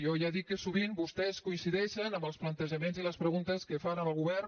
jo ja dic que sovint vostès coincideixen amb els plantejaments i les preguntes que fan al govern